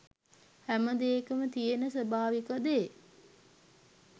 හැමදේකම තියෙන ස්වාභාවික දේ